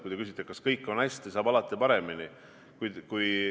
Kui te küsite, kas kõik on hästi, siis ütlen, et alati saab paremini.